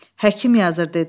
Həkim yazı dedi.